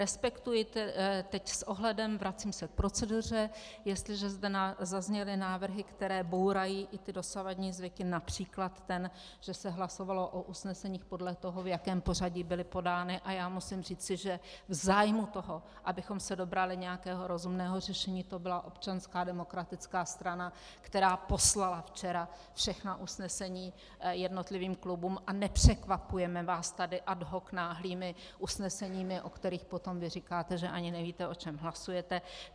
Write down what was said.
Respektuji teď s ohledem, vracím se k proceduře, jestliže zde zazněly návrhy, které bourají i ty dosavadní zvyky, například ten, že se hlasovalo o usneseních podle toho, v jakém pořadí byly podány, a já musím říci, že v zájmu toho, abychom se dobrali nějakého rozumného řešení, to byla Občanská demokratická strana, která poslala včera všechna usnesení jednotlivým klubům, a nepřekvapujeme vás tady ad hoc náhlými usneseními, o kterých potom vy říkáte, že ani nevíte, o čem hlasujete.